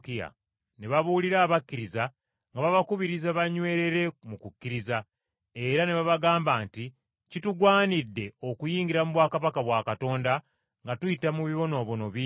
ne babuulirira abakkiriza, nga babakubiriza banywerere mu kukkiriza, era ne babagamba nti, “Kitugwanidde okuyingira mu bwakabaka bwa Katonda nga tuyita mu bibonoobono ebingi.”